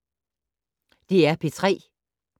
DR P3